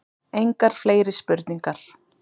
Engar fleiri spurningar.